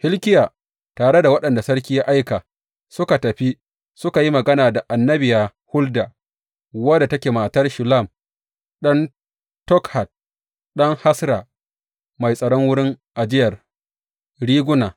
Hilkiya tare da waɗanda sarki ya aika, suka tafi suka yi magana da annabiya Hulda, wadda take matar Shallum ɗan Tokhat ɗan Hasra, mai tsaron wurin ajiyar riguna.